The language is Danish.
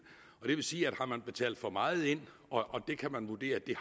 og det vil sige at har man betalt for meget ind og det kan man vurdere at vi